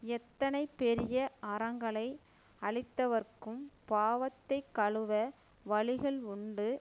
எத்தனை பெரிய அறங்களை அழித்தவர்க்கும் பாவத்தைக் கழுவ வழிகள் உண்டு